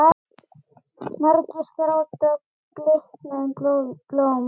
Margir gráta bliknuð blóm.